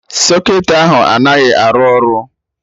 Socketị ahụ anaghị arụ ọrụ